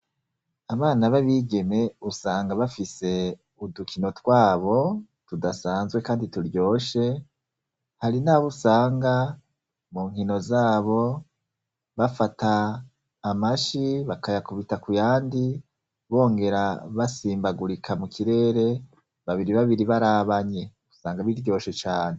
Abana b'abigeme usanga bafise udukino twabo tudasanzwe kandi turyoshe. Hari nabo usanga mu nkino zabo bafata amashi bakayakubita kuyandi bongera basimbagurika mu kirere babiri babiri barabanye. Usanga biryoshe cane.